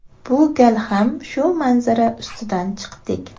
Bu gal ham shu manzara ustidan chiqdik.